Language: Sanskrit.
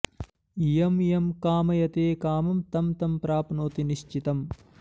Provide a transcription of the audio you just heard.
यं यं कामयते कामं तं तं प्राप्नोति निश्चितम्